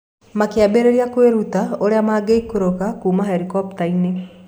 Makĩambĩrĩria kwĩruta ũrĩa mangĩikũrũka kuuma herikopta-inĩ.